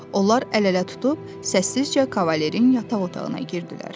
Onlar əl-ələ tutub səssizcə kavalirin yataq otağına girdilər.